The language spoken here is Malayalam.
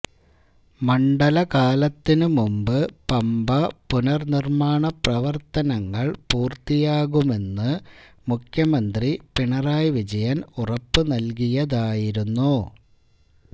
മണ്ഡലകാലത്തിന് മുമ്പ് പമ്പ പുനര്നിര്മാണ പ്രവര്ത്തനങ്ങള് പൂര്ത്തിയാകുമന്ന് മുഖ്യമന്ത്രി പിണറായി വിജയന് ഉറപ്പ് നല്കിയതായിരുന്നു